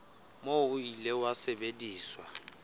moo o ile wa sebediswa